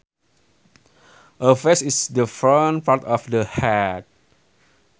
A face is the front part of the head